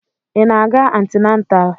Ị na-aga antịnatal?